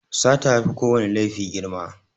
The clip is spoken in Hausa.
Sata yafi kowana laifi girma.